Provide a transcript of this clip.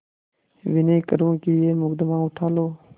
विनय करुँ कि यह मुकदमा उठा लो